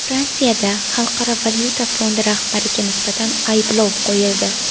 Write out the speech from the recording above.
Fransiyada Xalqaro valyuta fondi rahbariga nisbatan ayblov qo‘yildi.